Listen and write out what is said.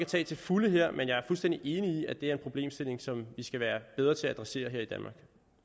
tage til fulde her men jeg er fuldstændig enig i at det er en problemstilling som vi skal være bedre til at adressere